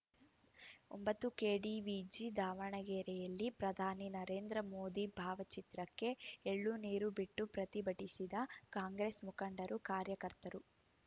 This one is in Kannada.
ಒಂಬತ್ತು ಕೆಡಿವಿಜಿ ದಾವಣಗೆರೆಯಲ್ಲಿ ಪ್ರಧಾನಿ ನರೇಂದ್ರ ಮೋದಿ ಭಾವಚಿತ್ರಕ್ಕೆ ಎಳ್ಳುನೀರು ಬಿಟ್ಟು ಪ್ರತಿಭಟಿಸಿದ ಕಾಂಗ್ರೆಸ್‌ ಮುಖಂಡರು ಕಾರ್ಯಕರ್ತರು